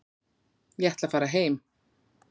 Ég ætla að fara heim.